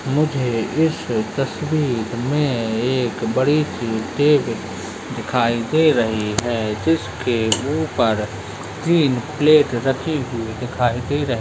मुझे इस तस्वीर में एक बड़ी सी टेबल दिखाई दे रही है जिसके ऊपर तीन प्लेट राखी हुई दिखाई दे रही --